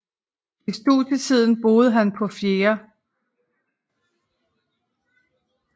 I studietiden boede han på 4